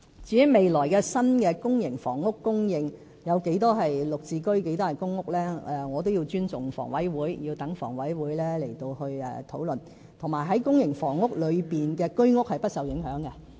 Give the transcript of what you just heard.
至於未來新的公營房屋供應有多少是"綠置居"和公屋，我也要尊重房委會，讓他們討論，而且在公營房屋裏的居屋是不受影響的。